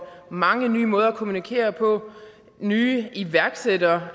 mange nye måder at kommunikere på nye iværksættere